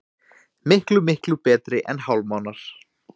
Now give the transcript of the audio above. Miklu, miklu betri en hálfmánar.